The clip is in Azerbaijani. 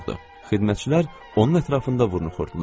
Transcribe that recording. Xidmətçilər onun ətrafında vurnuxurdular.